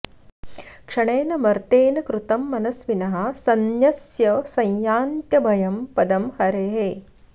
क्षणेन मर्त्येन कृतं मनस्विनः सन्न्यस्य संयान्त्यभयं पदं हरेः